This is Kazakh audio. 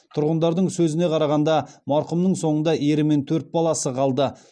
тұрғындардың сөзіне қарағанда марқұмның соңында ері мен төрт баласы қалды